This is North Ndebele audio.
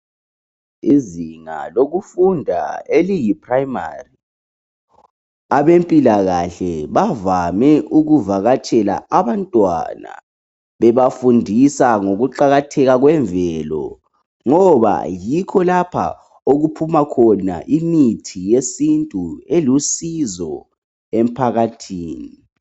Izinga lokufunda eliyiprimary abempilakahle bavame ukuvakatshela abantwana. Bebafundisa ngokuqakatheka kwezemvelo ngoba yikho lapho okuphuma imithi yesintu olusizo emphakathini.